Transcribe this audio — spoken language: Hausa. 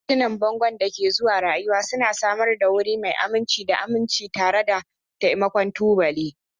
Hotunan bangon da ke zuwa rayuwa suna samar da wuri mai aminci da aminci tare da taimakon tubali